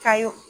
Ka y'o